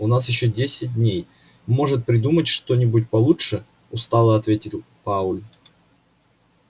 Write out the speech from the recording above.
у нас ещё десять дней можешь придумать что-нибудь получше устало ответил пауэлл